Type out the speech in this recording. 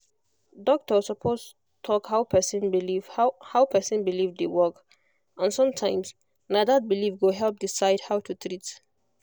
doctor suppose talk how person belief how person belief dey work and sometimes na that belief go help decide how to treat